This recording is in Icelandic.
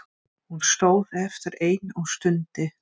Hún stóð eftir ein og stundi.